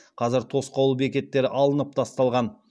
қазір тосқауыл бекеттері алынып тасталған